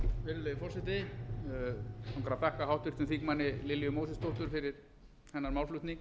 virðulegi forseti mig langar að þakka háttvirtum þingmanni lilju mósesdóttur fyrir hennar málflutning